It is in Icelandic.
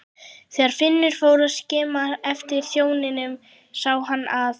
Þegar Finnur fór að skima eftir þjóninum sá hann að